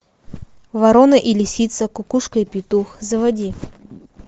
ворона и лисица кукушка и петух заводи